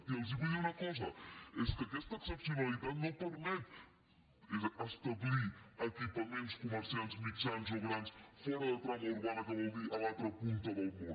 i els vull dir una cosa i és que aquesta excepcionalitat no permet establir equipaments comercials mitjans o grans fora de trama urbana que vol dir a l’altra punta del món